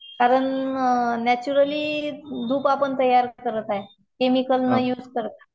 कारण नॅचरली धूप आपण तयार करत आहे केमिकल यूज न करता.